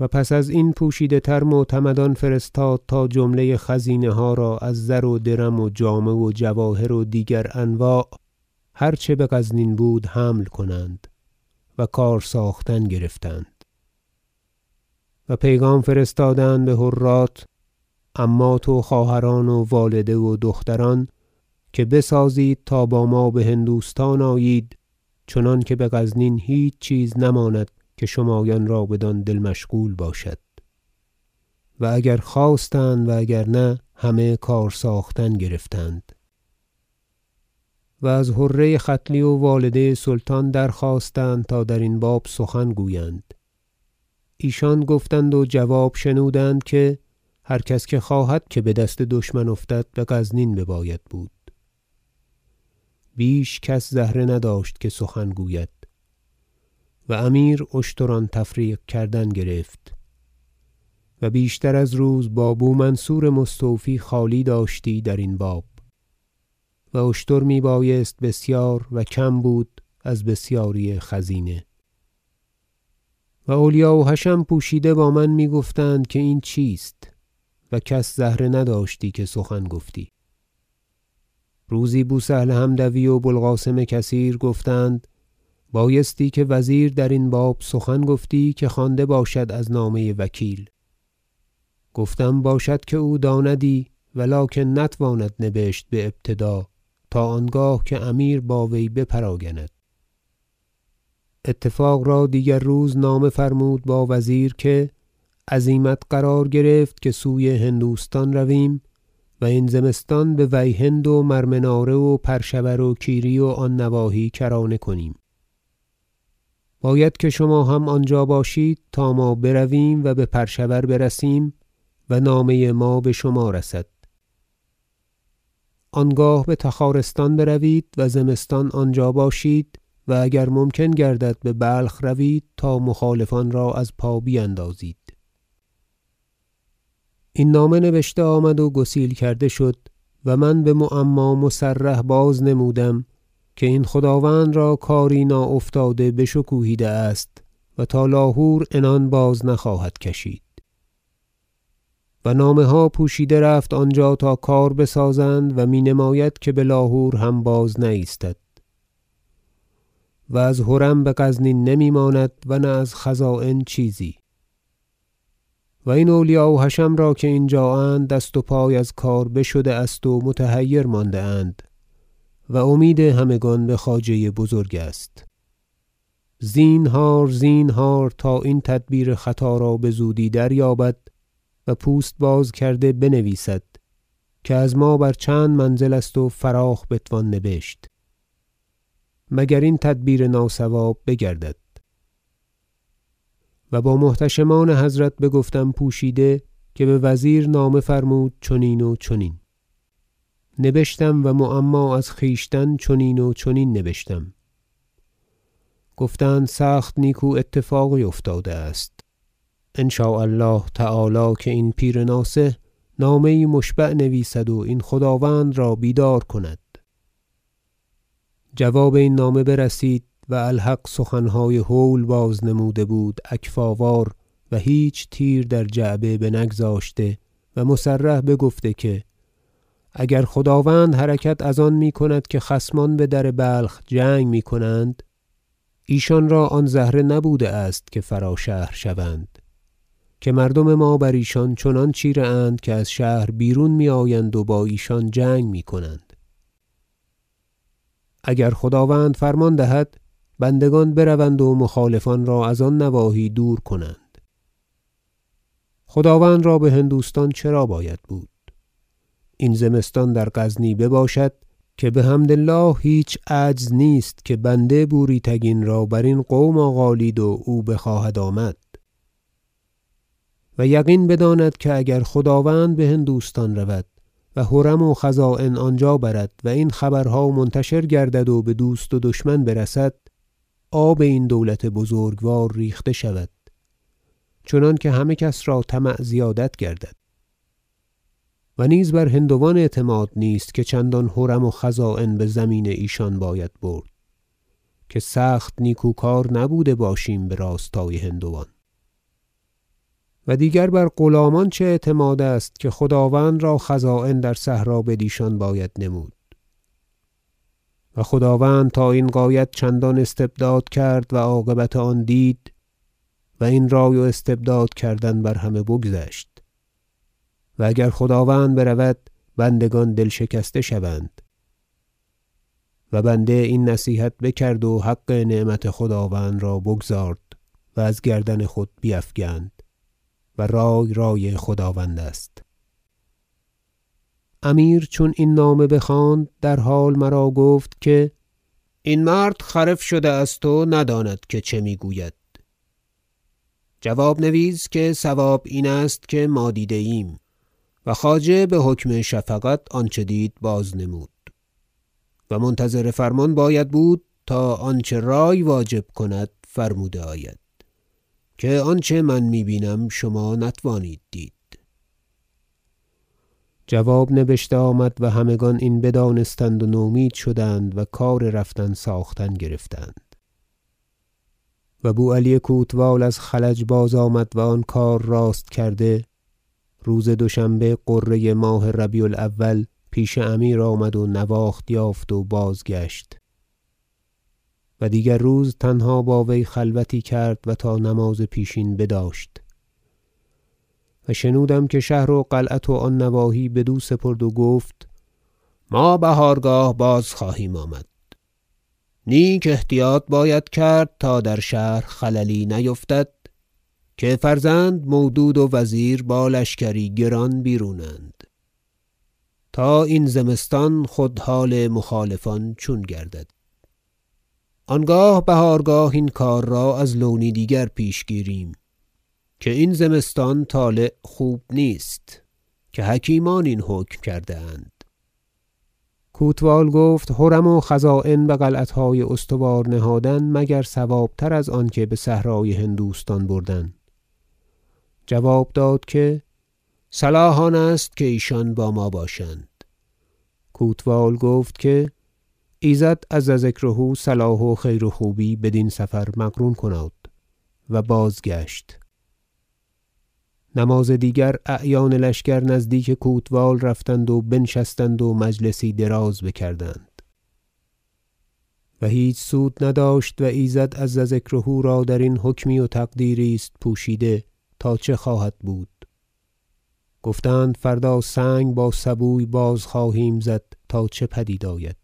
و پس ازین پوشیده تر معتمدان فرستاد تا جمله خزینه ها را از زر و درم و جامه و جواهر و دیگر انواع هر چه بغزنین بود حمل کنند و کار ساختن گرفتند و پیغام فرستادند بحرات عمات و خواهران و والده و دختران که بسازید تا با ما بهندوستان آیید چنانکه بغزنین هیچ چیز نماند که شمایان را بدان دل مشغول باشد و اگر خواستند و اگر نه همه کار ساختن گرفتند و از حره ختلی و والده سلطان درخواستند تا درین باب سخن گویند ایشان گفتند و جواب شنودند که هر کس که خواهد که بدست دشمن افتد بغزنین بباید بود بیش کس زهره نداشت که سخن گوید و امیر اشتران تفریق کردن گرفت و بیشتر از روز با بو منصور مستوفی خالی داشتی درین باب و اشتر میبایست بسیار و کم بود از بسیاری خزینه و اولیا و حشم پوشیده با من میگفتند که این چیست و کس زهره نداشتی که سخن گفتی روزی بو سهل حمدوی و بو القاسم کثیر گفتند بایستی که وزیر درین باب سخن گفتی که خوانده باشد از نامه وکیل گفتم باشد که او داندی و لکن نتواند نبشت بابتداء تا آنگاه که امیر با وی بپراگند اتفاق را دیگر روزنامه فرمود با وزیر که عزیمت قرار گرفت که سوی هندوستان رویم و این زمستان به ویهند و مرمناره و پرشور و کیری و آن نواحی کرانه کنیم باید که شما هم آنجا باشید تا ما برویم و به پرشور برسیم و نامه ما بشما رسد آنگاه بتخارستان بروید و زمستان آنجا باشید و اگر ممکن گردد ببلخ روید تا مخالفان را از پا بیندازید این نامه نبشته آمد و گسیل کرده شد و من بمعما مصرح باز نمودم که این خداوند را کاری ناافتاده بشکوهیده است و تا لاهور عنان بازنخواهد کشید و نامه ها پوشیده رفت آنجا تا کار بسازند و می نماید که بلاهور هم باز نه ایستد و از حرم بغزنین نمیماند و نه از خزاین چیزی و این اولیا و حشم را که اینجااند دست و پای از کار بشده است و متحیر مانده اند و امید همگان بخواجه بزرگ است زینهار زینهار تا این تدبیر خطا را بزودی دریابد و پوست بازکرده بنویسد که از ما بر چند منزل است و فراخ بتوان نبشت مگر این تدبیر ناصواب بگردد و با محتشمان حضرت بگفتم پوشیده که بوزیر نامه فرمود چنین و چنین نبشتم و معما از خویشتن چنین و چنین نبشتم گفتند سخت نیکو اتفاقی افتاده است ان شاء الله تعالی که این پیر ناصح نامه یی مشبع نویسد و این خداوند را بیدار کند جواب این نامه برسید و الحق سخنهای هول باز نموده بود اکفاءوار و هیچ تیر در جعبه بنگذاشته و مصرح بگفته که اگر خداوند حرکت از آن میکند که خصمان بدر بلخ جنگ میکنند ایشان را آن زهره نبوده است که فرا شهر شوند که مردم ما بر ایشان چنان چیره اند که از شهر بیرون میآیند و با ایشان جنگ میکنند اگر خداوند فرمان دهد بندگان بروند و مخالفان را از آن نواحی دور کنند خداوند را بهندوستان چرا باید بود این زمستان در غزنی بباشد که بحمد الله هیچ عجز نیست که بنده بوری تگین را برین قوم آغالید و او بخواهد آمد و یقین بداند که اگر خداوند بهندوستان رود و حرم و خزاین آنجا برد و این خبرها منتشر گردد و بدوست و دشمن برسد آب این دولت بزرگوار ریخته شود چنانکه همه کس را طمع زیادت گردد و نیز بر هندوان اعتماد نیست که چندان حرم و خزاین بزمین ایشان باید برد که سخت نیکوکار نبوده باشیم براستای هندوان و دیگر بر غلامان چه اعتماد است که خداوند را خزاین در صحرا بدیشان باید نمود و خداوند تا این غایت چندان استبداد کرد و عاقبت آن دید و این رای و استبداد کردن بر همه بگذشت و اگر خداوند برود بندگان دل شکسته شوند و بنده این نصیحت بکرد و حق نعمت خداوند را بگزارد و از گردن خود بیفگند و رای رای خداوند راست امیر چون این نامه بخواند در حال مرا گفت که این مرد خرف شده است و نداند که چه میگوید جواب نویس که صواب این است که ما دیده ایم و خواجه بحکم شفقت آنچه دید باز نمود و منتظر فرمان باید بود تا آنچه رای واجب کند فرموده آید که آنچه من می بینم شما نتوانید دید جواب نبشته آمد و همگان این بدانستند و نومید شدند و کار رفتن ساختن گرفتند و بو علی کوتوال از خلج باز آمد و آن کار راست کرده روز دوشنبه غره ماه ربیع الأول پیش امیر آمد و نواخت یافت و بازگشت و دیگر روز تنها با وی خلوتی کرد و تا نماز پیشین بداشت و شنودم که شهر و قلعت و آن نواحی بدو سپرد و گفت ما بهارگاه باز خواهیم آمد نیک احتیاط باید کرد تا در شهر خللی نیفتد که فرزند مودود و وزیر با لشکری گران بیرون اند تا این زمستان خود حال مخالفان چون گردد آنگاه بهارگاه این کار را از لونی دیگر پیش گیریم که این زمستان طالع خوب نیست که حکیمان این حکم کرده اند کوتوال گفت حرم و خزاین بقلعتهای استوار نهادن مگر صوابتر از آنکه بصحرای هندوستان بردن جواب داد که صلاح آنست که ایشان با ما باشند کوتوال گفت که ایزد عز ذکره صلاح و خیر و خوبی بدین سفر مقرون کناد و بازگشت نماز دیگر اعیان لشکر نزدیک کوتوال رفتند و بنشستند و مجلسی دراز بکردند و هیچ سود نداشت و ایزد عز ذکره را درین حکمی و تقدیری است پوشیده تا چه خواهد بود گفتند فردا سنگ با سبوی باز خواهیم زد تا چه پدید آید